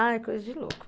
Ai, coisa de louco.